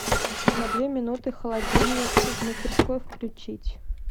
на две минуты холодильник в мастерской включить